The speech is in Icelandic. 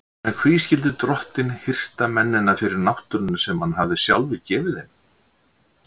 En hví skyldi drottinn hirta mennina fyrir náttúruna sem hann hafði sjálfur gefið þeim?